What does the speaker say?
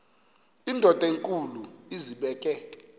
indod enkulu izibeke